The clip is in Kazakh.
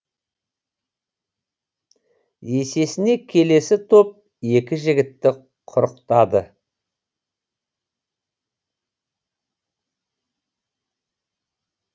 есесіне келесі топ екі жігітті құрықтады